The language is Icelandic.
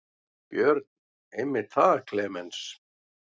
Björn: Einmitt það Klemenz.